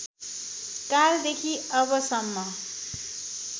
कालदेखि अबसम्म